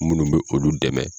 Minnu bɛ olu dɛmɛ